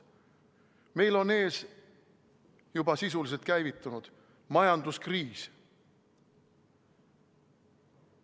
Meil on ees juba sisuliselt käivitunud majanduskriis.